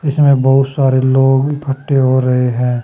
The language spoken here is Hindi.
इसमें बहुत सारे लोग इफ्ट्टे हो रहे हैं।